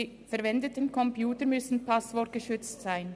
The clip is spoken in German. Die verwendeten Computer müssen passwortgeschützt sein.